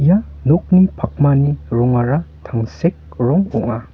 nokni pakmani rongara tangsek rong ong·a.